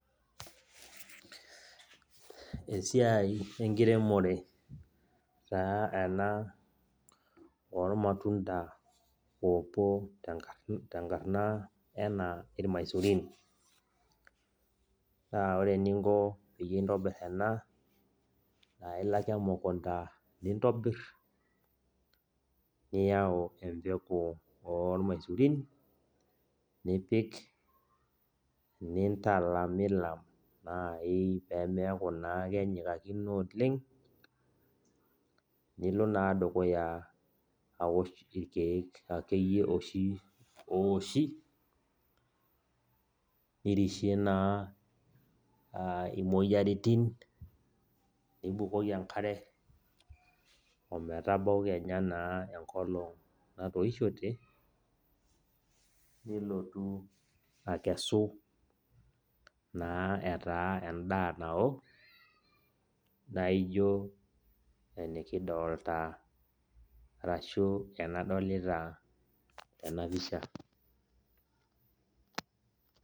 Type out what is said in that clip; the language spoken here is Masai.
Esiai enkiremore taa ena ormatunda opuo tenkarna enaa irmaisurin. Naa ore eninko peyie intobir ena, naa ilo ake emukunda nintobir, niyau empeku ormaisurin, nipik nintalamilam nai pemeeku naa kenyikakino oleng, nilo naa dukuya awosh irkeek akeyie oshi owoshi, nirishie naa imoyiaritin, nibukoki enkare ometabau kenya naa enkolong natoishote, nilotu akesu naa etaa endaa nao, naijo enikidolta arashu enadolita tenapisha.